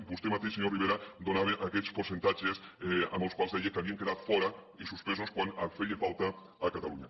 vostè mateix senyor rivera donava aquests percentatges amb els quals deia que n’havien quedat fora i suspesos quan feien falta a catalunya